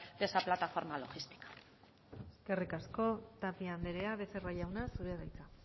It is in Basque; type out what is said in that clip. de esa plataforma logística eskerrik asko tapia andrea becerra jauna zurea da hitza